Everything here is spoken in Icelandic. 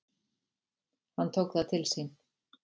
Hann tók það til sín: